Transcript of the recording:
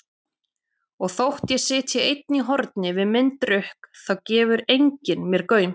Og þótt ég sitji einn í horni við minn drukk þá gefur enginn mér gaum.